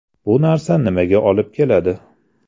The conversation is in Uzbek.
Bu narsa nimaga olib keladi?